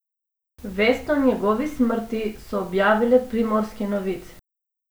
Vest o njegovi smrti so objavile Primorske novice.